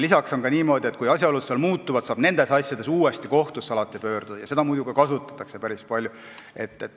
Lisaks on niimoodi, et kui asjaolud muutuvad, saab alati uuesti kohtusse pöörduda ja seda võimalust kasutatakse päris palju.